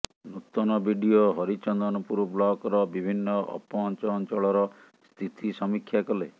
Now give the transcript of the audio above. ନୂତନ ବିଡିଓ ହରିଚନ୍ଦନପୁର ବ୍ଲକର ବିଭିନ୍ନ ଅପହଞ୍ଚ ଅଞ୍ଚଳର ସ୍ଥିତି ସମୀକ୍ଷା କଲେ